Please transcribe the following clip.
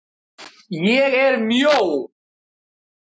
ÉG ER MJÓ.